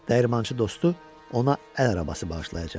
Dəyirmançı dostu ona əl arabası bağışlayacaqdı.